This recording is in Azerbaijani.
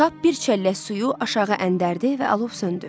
Kap bir çəllək suyu aşağı əndərdi və alov söndü.